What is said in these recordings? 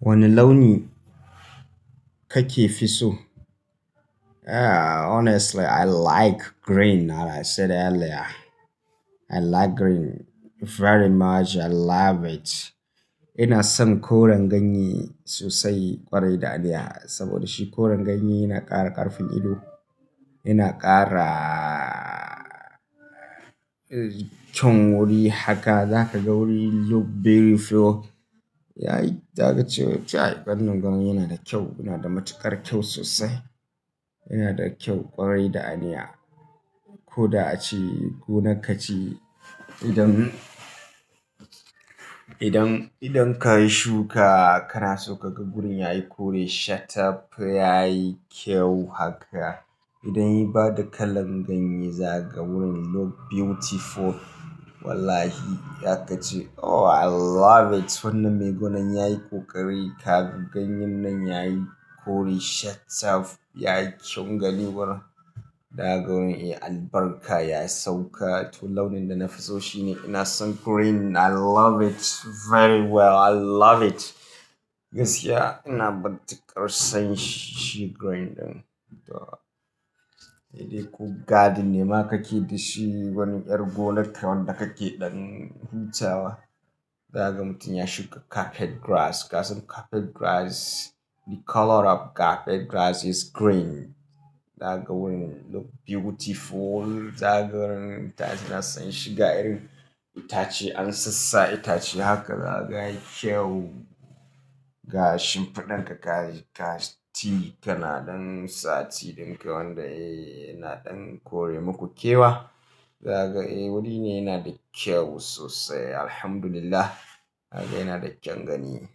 Wane launi kake fi so? Honestly I like green that I said earlier. I like green very much. I love it. Ina son koren ganye sosai kwarai da aniya. Saboda shi koren ganye yana ƙara ƙarfin ido, yana ƙara kyawun wuri haka za ka ga wuri look very flow. Za ka ce ƙanan ganye yana da kyau, yana da matuƙar kyau sosai. Yana da kyau kwarai da aniya. Ko da aci, ko naka ci. Idan, idan, idan ka yi shuka kana so ka ga wurin yayi kore shattaf yayi kyau haka. Idan ya bada kalan ganye za ka ga wurin look beautiful. Wallahi za ka ce oh I love it. Wannan mai gonan yayi ƙoƙari. Ka ga ganyen nan yayi kore shattaf yayi kyawun gani wurin. Da ga wurin albaraka ya sauka. To launin da na fi so shi ne. Ina son green. I love it very well. I love it. Gaskiya ina matuƙar son shi green ɗin. To, idan ku garden nema kake da shi, wani ƴar gonarka wanda ka ke ɗan huta wa. Za ka mutum ya shuka carpet grass. Kasan carpet grass the color of carpet grass is green. Za ka ga wurin look beautiful. Za ka ga wurin ita ina son shi ga irin itace an sassa itace haka za ka ga kyau. Ga shinfadan ka ka ci kana ɗan sati ɗin ka wanda yana ɗan kore muku kewa. Za ka ga wuri ne yana da kyau sosai. Alhamdulillah. Haka yana da kyan gani.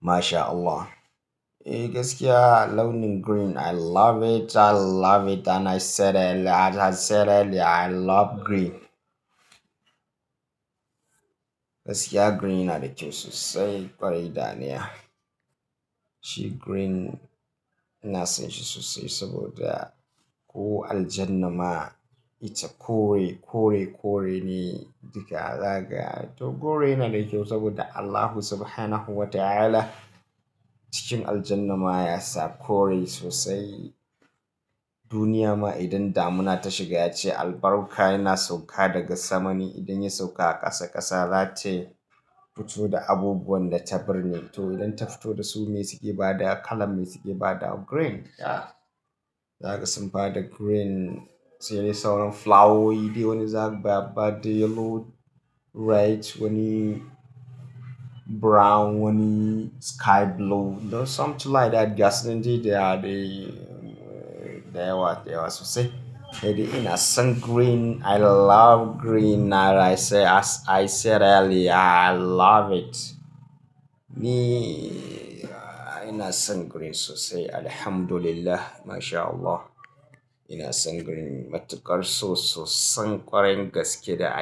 Masha Allah. Eh gaskiya launin green I love it. I love it and I said earlier. I said earlier I love green. Gaskiya green yana da kyau sosai kwarai da aniya. Shi green ina son shi sosai saboda ko aljannama ita kore, kore, kore ne. Duka za ka ga to kore yana da kyau saboda Allah subhanahu wa ta'ala cikin aljannama ya sa kore sosai. Duniyama idan damuna ta shiga yace albarka yana sauka daga samane. Idan ya sauka a ƙasa ƙasa za ta fito da abubuwan da ta birne. To idan ta fito da su me suke bada kala, me suke bada green. Ya. Za ka san bada green sai dai sauran flowowi dayawa ne za ka biya bada yellow, red wani brown wani sky blue. Something like that. Gaskinen dai dayawa, dayawa sosai. Eh dai ina son green. I love green that I said as I said earlier I love it. Ni ina son green sosai. Alhamdulillah. Masha Allah. Ina son green matuƙar sososa san ƙwarin gaske da aniya.